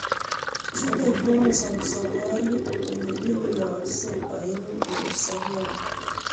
Chutei chromosome sogol ole iliyakse aeng eng' sogol